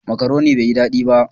"Macaroni" bai yi dadi ba.